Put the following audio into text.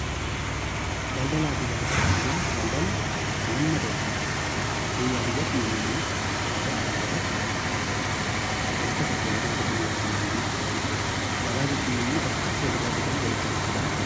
Daldalaa fi gabaa gaafa jennu, daldalli wanna tokko biyyaa-biyyatti, namaa-namatti, dhaabbataa-dhaabbatatti wanta tokko walirraa bitanii walitti gurguruu jechuu dha. Gabaa jechuun immoo bakka itti walirraa bitanii walitti gurguran je....